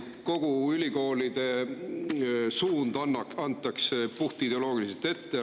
Kogu ülikoolide suund antakse puhtideoloogiliselt ette.